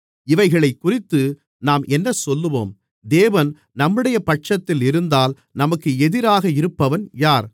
இவைகளைக்குறித்து நாம் என்னசொல்லுவோம் தேவன் நம்முடைய பட்சத்தில் இருந்தால் நமக்கு எதிராக இருப்பவன் யார்